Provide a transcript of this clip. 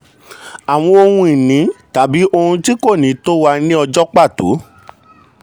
àwọn ohun ìní tàbí ohun tí kò ní tó wà ní ọjọ́ pàtó.